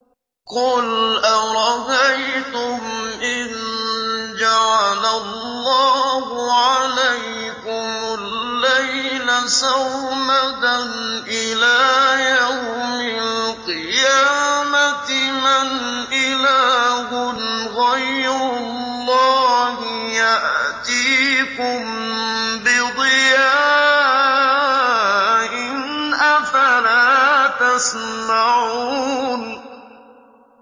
قُلْ أَرَأَيْتُمْ إِن جَعَلَ اللَّهُ عَلَيْكُمُ اللَّيْلَ سَرْمَدًا إِلَىٰ يَوْمِ الْقِيَامَةِ مَنْ إِلَٰهٌ غَيْرُ اللَّهِ يَأْتِيكُم بِضِيَاءٍ ۖ أَفَلَا تَسْمَعُونَ